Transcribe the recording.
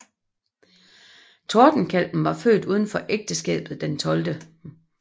Tordenkalven var født uden for ægteskabet den 12